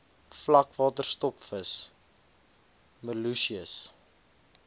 vlakwater stokvis merluccius